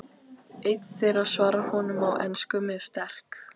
Einn þeirra svarar honum á ensku með sterk